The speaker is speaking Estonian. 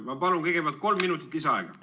Ma palun kõigepealt kolm minutit lisaaega!